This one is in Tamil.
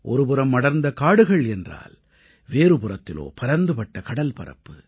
ஒருபுறம் அடர்ந்த காடுகள் என்றால் வேறுபுறத்திலோ பரந்துபட்ட கடல்பரப்பு